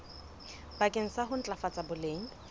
bakeng sa ho ntlafatsa boleng